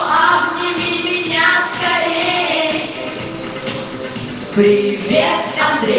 а вы меня скорее привет